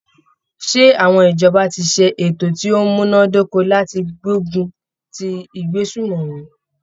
Ṣé àwọn ìjọba ti ṣe ètò ti o múná dóko láti gbógun ti ìgbésùmòmí?